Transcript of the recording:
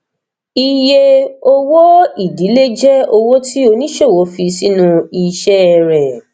iye owóìdílé jẹ owó tí oníṣòwò fi sínú iṣẹ rẹ